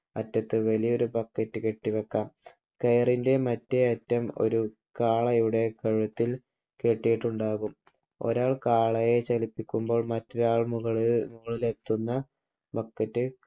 അറ്റത്ത് വലിയൊരു bucket കെട്ടിവെക്കാം. കയറിൻ്റെ മറ്റേ അറ്റം ഒരു കാളയുടെ കഴുത്തിൽ കെട്ടിയിട്ടുണ്ടാകും. ഒരാൾ കാളയെ ചലിപ്പിക്കുമ്പോൾ മറ്റൊരാൾ മുകളിൽ എത്തുന്ന BUCKET